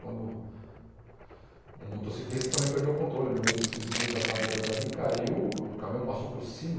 Quando um motociclista também perdeu o controle no meio dos desvios das madeiras ali, caiu, o caminhão passou por cima.